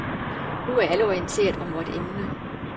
Nu er alle orienteret om vort emne.